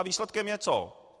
A výsledkem je co?